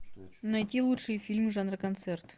найти лучшие фильмы жанра концерт